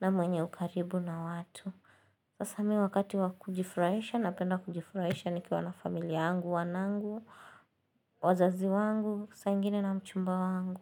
na mwenye ukaribu na watu Sasa mimi wakati wa kujifurahisha napenda kujifurahisha nikiwa na familia yangu, wanangu, wazazi wangu, saa ingine na mchumba wangu.